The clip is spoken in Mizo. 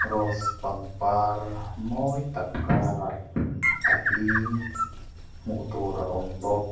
rose pangpar mawi tak karaha a hling hmuh tur a awm bawk.